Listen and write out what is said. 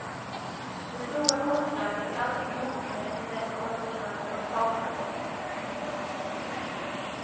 Det stora konstverket är alltid klokare än den konstnär som har skapat det.